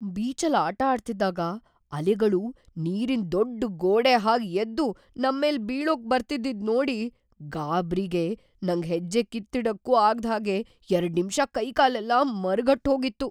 ಬೀಚಲ್ಲ್‌ ಆಟ ಆಡ್ತಿದ್ದಾಗ ಅಲೆಗಳು ನೀರಿನ್‌ ದೊಡ್ಡ್‌ ಗೋಡೆ ಹಾಗ್‌ ಎದ್ದು ನಮ್ಮೇಲ್‌ ಬೀಳೋಕ್ ಬರ್ತಿದ್ದಿದ್‌ ನೋಡಿ ಗಾಬ್ರಿಗೆ ನಂಗ್‌ ಹೆಜ್ಜೆ ಕಿತ್ತಿಡಕ್ಕೂ ಆಗ್ದ್‌ ಹಾಗೆ ಎರಡ್ನಿಮ್ಷ ಕೈಕಾಲೆಲ್ಲ ಮರಗಟ್ಹೋಗಿತ್ತು.